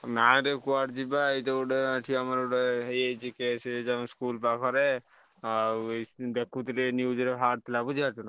ନାଇଁ ରେ କୁଆଡେ ଯିବା ଏଇ ତ ଗୋଟେ ଏଠି ଆମର ଗୋଟେ ହେଇଯାଇଛି case ଆମ school ପାଖରେ ଆଉ ଦେଖୁଥିଲି news ରେ ବାହାରିଥିଲା ବୁଝିପାରୁଛ ନାଁ?